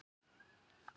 spurði einn okkar.